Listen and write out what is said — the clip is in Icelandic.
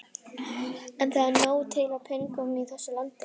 En það er til nóg af peningum í þessu landi.